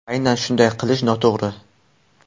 Aynan shunday qilish noto‘g‘ri.